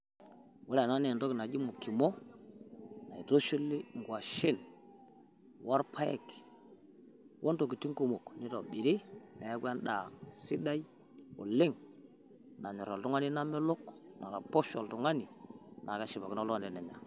Ore ena nee entoki najii mokimoo naitushuli ng'uashen olpaaek o ntokitiin kumok neitobirii neaku enda sidai oleng naayorr iltung'ani nameelok naaroposh oltung'ani naa keshipakino iltung'ani tenenyaa.